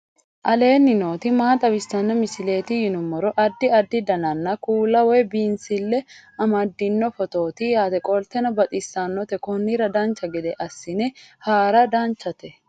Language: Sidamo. aleenni nooti maa xawisanno misileeti yinummoro addi addi dananna kuula woy biinsille amaddino footooti yaate qoltenno baxissannote konnira dancha gede assine haara danchate